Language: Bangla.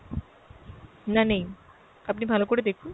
না নেই, আপনি ভালো করে দেখুন।